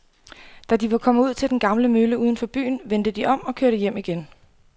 Da de var kommet ud til den gamle mølle uden for byen, vendte de om og kørte hjem igen.